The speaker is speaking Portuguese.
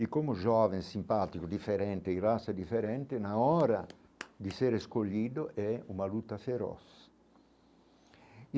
E como jovem, simpático, diferente e diferente, na hora de ser escolhido é uma luta feroz e.